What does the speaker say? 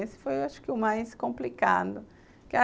Esse foi acho que o mais complicado.